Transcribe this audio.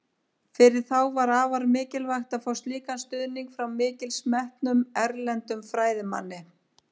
Fyrir þá var afar mikilvægt að fá slíkan stuðning frá mikils metnum, erlendum fræðimanni.